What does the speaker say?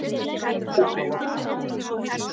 Ófeigur